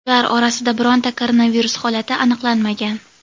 Ular orasida bironta koronavirus holati aniqlanmagan.